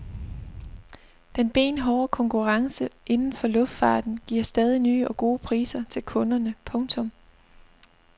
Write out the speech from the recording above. Den benhårde konkurrence inden for luftfarten giver stadig nye og gode priser til kunderne. punktum